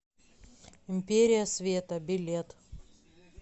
империя света билет